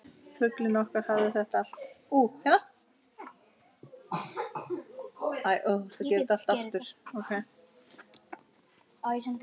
Fuglinn okkar hafði þetta allt.